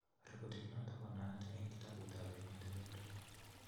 Rekodit notok konaat eng kitabuut ap emotinwek tugul